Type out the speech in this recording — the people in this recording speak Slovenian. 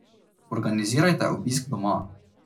Organizirajte obisk doma.